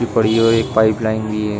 ये पड़ी हुई एक पाइप लाइन भी है।